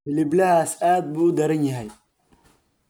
hiliblahaas aad buu u daran yahay